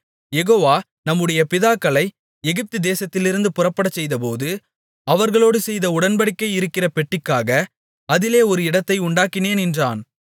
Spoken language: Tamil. யெகோவா நம்முடைய பிதாக்களை எகிப்து தேசத்திலிருந்து புறப்படச்செய்தபோது அவர்களோடு செய்த உடன்படிக்கை இருக்கிற பெட்டிக்காக அதிலே ஒரு இடத்தை உண்டாக்கினேன் என்றான்